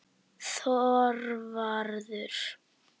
Þorvarður